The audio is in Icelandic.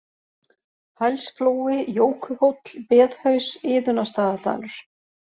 Hælsflói, Jókuhóll, Beðhaus, Iðunnarstaðadalur